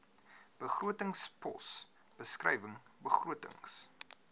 begrotingspos beskrywing begrotings